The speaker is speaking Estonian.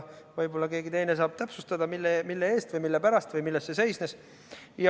Võib-olla keegi saab täpsustada, mille eest või mille pärast või milles see seisnes.